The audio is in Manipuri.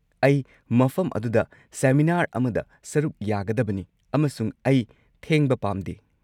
ꯑꯩ ꯃꯐꯝ ꯑꯗꯨꯗ ꯁꯦꯃꯤꯅꯥꯔ ꯑꯃꯗ ꯁꯔꯨꯛ ꯌꯥꯒꯗꯕꯅꯤ, ꯑꯃꯁꯨꯡ ꯑꯩ ꯊꯦꯡꯕ ꯄꯥꯝꯗꯦ꯫